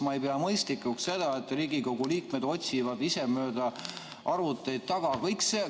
Ma ei pea mõistlikuks seda, et Riigikogu liikmed otsivad ise mööda arvuteid materjali taga.